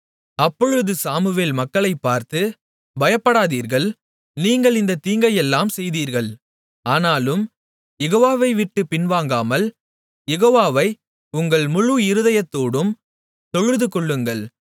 அப்பொழுது சாமுவேல் மக்களைப் பார்த்து பயப்படாதீர்கள் நீங்கள் இந்தத் தீங்கையெல்லாம் செய்தீர்கள் ஆனாலும் யெகோவாவை விட்டுப் பின்வாங்காமல் யெகோவாவை உங்கள் முழு இருதயத்தோடும் தொழுதுகொள்ளுங்கள்